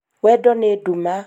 wendo nĩ nduma